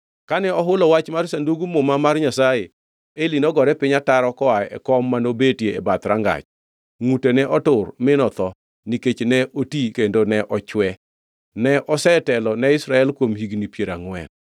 Kane ohulo wach mar Sandug Muma mar Nyasaye, Eli nogore piny ataro koa e kom manobetie e bath rangach. Ngʼute ne otur mi notho, nikech ne oti kendo ne ochwe. Ne osetelo ne Israel kuom higni piero angʼwen.